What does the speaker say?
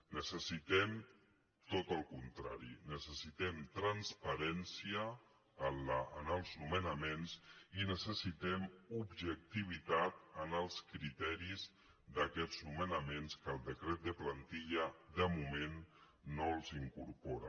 necessitem tot el con·trari necessitem transparència en els nomenaments i necessitem objectivitat en els criteris d’aquests nome·naments que el decret de plantilla de moment no els incorpora